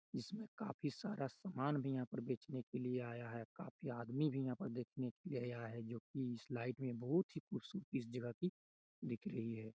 इसमें काफी सारा सामान भी यहाँ बेचने के लिए आया है काफी आदमी भी यहाँ पर देखने के लिए आया है जो की इस लाइट में बहुत ही खूबसूरती इस जगह की दिख रही है।